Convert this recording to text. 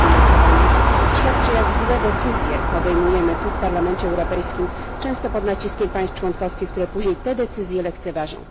finansowanie, świadczy, jak złe decyzje podejmujemy tu w Parlamencie Europejskim, często pod naciskiem państw członkowskich, które później te decyzje lekceważą.